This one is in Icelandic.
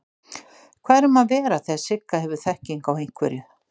Hvað er um að vera þegar Sigga hefur þekkingu á einhverju?